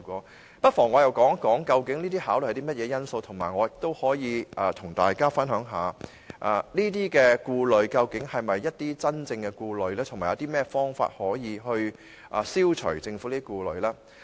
我不妨說說究竟這些考慮包含甚麼因素，同時我也可以和大家分享一下，這些顧慮究竟是不是真正的顧慮，以及有甚麼方法可以消除政府的顧慮。